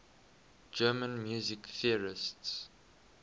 german music theorists